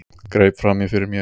Greip fram í fyrir mér.